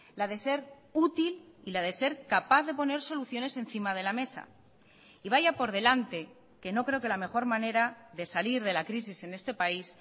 la de ser útil y la de ser capaz de poner soluciones encima de la mesa y vaya por delante que no creo que la mejor manera de salir de la crisis en este país